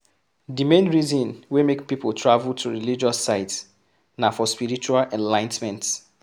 Di main reason wey make pipo travel to religious sites na for spiritual enligh ten ment